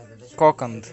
коканд